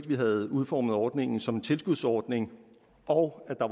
vi havde udformet ordningen som en tilskudsordning og at der